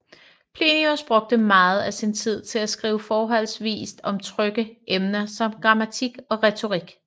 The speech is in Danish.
Plinius brugte meget af sin tid til at skrive forholdsvis om trygge emner som grammatik og retorik